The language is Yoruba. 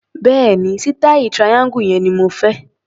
Bẹ́ẹ̀ni, sítàì triangle yẹn ni mo fẹ́.